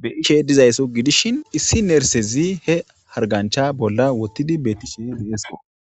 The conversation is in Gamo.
be'ishshe dizayissa gidishin.issi nerisezzi he haraganchcha bolla wottidi bettishshe de'essikko.